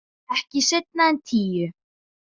Ekki seinna en tíu.